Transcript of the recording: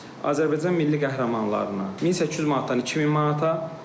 Azərbaycan Milli qəhrəmanlarına 1800 manatdan 2000 manata.